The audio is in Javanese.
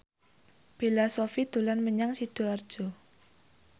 Bella Shofie dolan menyang Sidoarjo